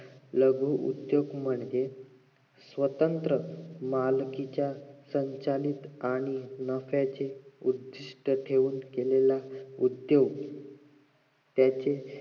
लघु उद्दोग म्हण स्वतंत्र मालकीचा संचालित आणि नफ्याचे उद्दिष्ट ठेवून केलेले उद्दोग त्याचे